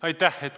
Aitäh!